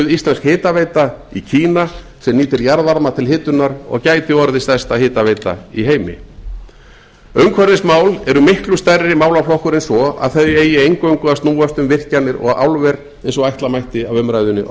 íslensk hitaveita í kína sem nýtir jarðvarma til hitunar og gæti orðið stærsta hitaveita í heimi umhverfismál eru miklu stærri málaflokkur en svo að þau eigi eingöngu að snúast um virkjanir og álver eins og ætla mætti af umræðunni á